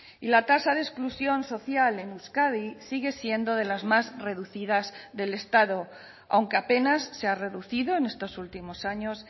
y la tasa de exclusión social en euskadi sigue siendo de las más reducidas del estado aunque apenas se ha reducido en estos últimos años